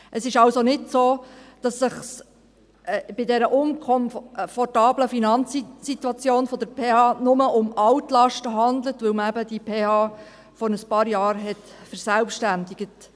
Es ist also nicht so, dass es sich bei dieser unkomfortablen Finanzsituation der PH nur um Altlasten handelt, weil man eben diese PH vor ein paar Jahren verselbstständigt hat.